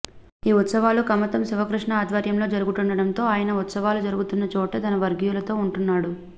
ఈ ఉత్సవాలు కమతం శివకృష్ణ ఆధ్వర్యంలో జరుగుతుండడంతో ఆయన ఉత్సవాలు జరుగుతున్న చోటే తన వర్గీయులతో ఉంటున్నాడు